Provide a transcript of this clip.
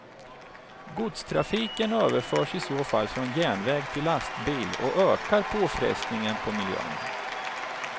Godstrafiken överförs i så fall från järnväg till lastbil och ökar påfrestningen på miljön.